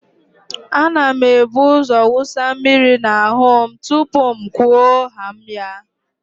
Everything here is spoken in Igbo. A na m ebuzo wụsa mmiri n'ahụ m tupuu m kwuo haa m ya.